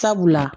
Sabula